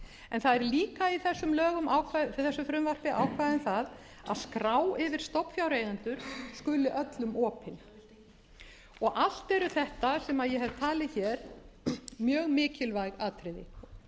en það eru líka í þessum lögum ákvæði um það að skrá yfir stofnfjáreigendur skuli öllum opin allt eru þetta sem ég hef talið hér mjög mikilvæg atriði það